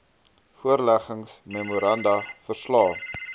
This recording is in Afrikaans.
voorleggings memoranda verslae